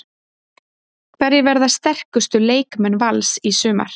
Hverjir verða sterkustu leikmenn Vals í sumar?